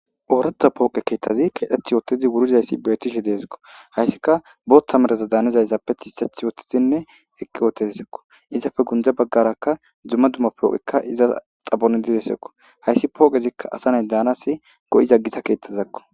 Ooratha pooqe keettazi kedheth yoottidi wurizayssi beetishe deeskko hayssika bootta mereza daanezayzappe ti iseth ywottidinne eqqi ootedsekko izafe gundza baggarakka dzumma dummapooqekka iza xabondidesekko hayssi pooqezikka asanay daanasi go'iza gisa keettazakko